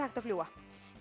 að fljúga